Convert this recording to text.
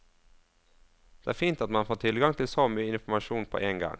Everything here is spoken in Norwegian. Det er fint at man får tilgang til så mye informasjon på én gang.